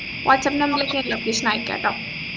whatsapp number ലേക്ക് location അയക്കാട്ടോ